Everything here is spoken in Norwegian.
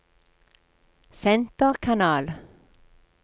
senterkanal